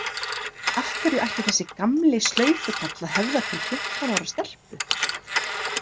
Af hverju ætti þessi gamli slaufukall að höfða til fimmtán ára stelpu?